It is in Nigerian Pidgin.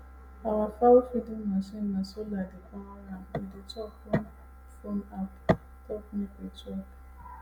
our fowlfeeding machine na solar dey power am e dey chop ?] when phone app talk make e chop